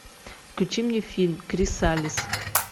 включи мне фильм крисалис